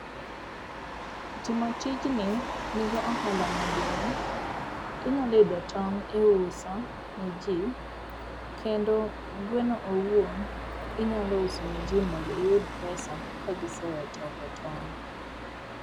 Timo tijni nigo ohala maduong'. Inyalo yudo tong' iuso ne ji kendo gweno owuon, inyalo uso ni ji mondo iyud pesa ka gisewe toko tong'.